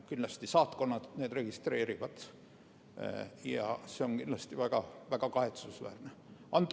Kindlasti saatkonnad registreerivad need ja see on väga kahetsusväärne.